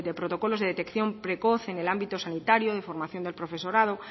protocolos de detección precoz en el ámbito sanitario de formación del profesorado